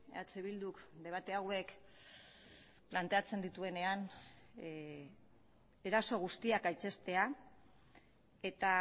eh bilduk debate hauek planteatzen dituenean eraso guztiak gaitzestea eta